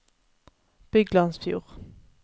Byglandsfjord